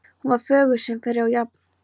Hún var fögur sem fyrr og jafn